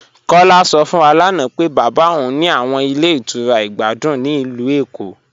Kọla sọ fún wà lána pé baba ọun ní àwọn ilẹ̀ ìtura ìgbàdùn ní ilù Ékó.